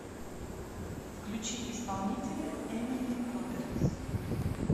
включи исполнителя эмили робертс